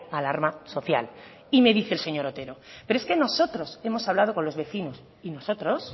alarma social y me dice el señor otero pero es que nosotros hemos hablado con los vecinos y nosotros